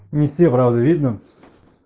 не все правда видно